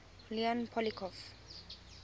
leon poliakov